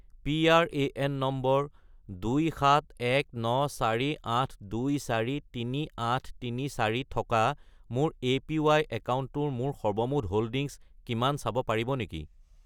PRAN নম্বৰ 271948243834 থকা মোৰ এপিৱাই একাউণ্টটোৰ মোৰ সৰ্বমুঠ হোল্ডিংছ কিমান চাব পাৰিব নেকি?